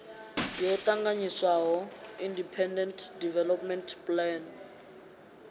yo ṱanganyiswaho independent development plan